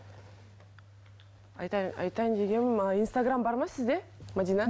айтайын дегенім ы инстаграм бар ма сізде мәдина